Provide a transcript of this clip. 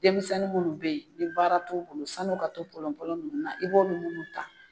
Denmisɛnnin nunnu be yen ni baara t'u bolo sani u ka to polon polon nunnu na i b'olu ta.